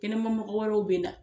Kɛnɛmamɔgɔ wɛrɛw bɛ na.